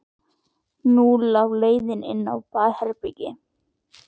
Og nú lá leiðin inn á baðherbergið!